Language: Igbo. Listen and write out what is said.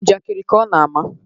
Njakiri ka ọ na-ama